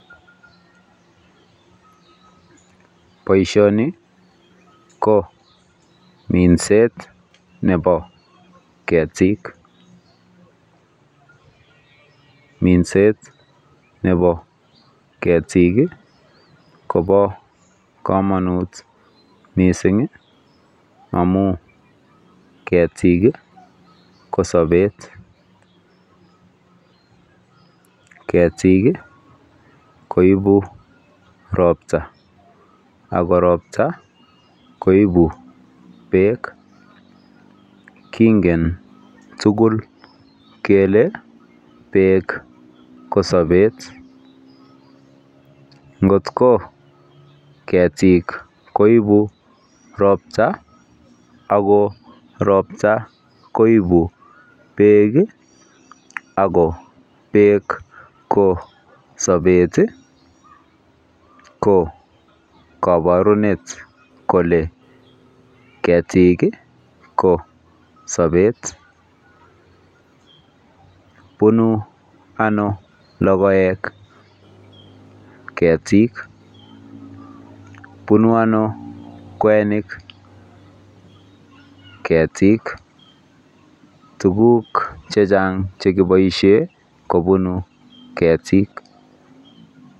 Boishoni ko minset nebo ketik. Minset nebo ketik kobo komonut mising amu ketik ko sobet. Ketik koipu ropta, ako ropta koipu beek. Kingen tugul kele beek ko sobet. Ngoko ketik koipu ropta ako ropta koipu beek ako beek ko sobet, ko kabarunet kole ketik ko sobet. Punu ano logoek? ketik, punu ano kwenik? ketik, tukuk chechang chekiboishe ko punu ketik.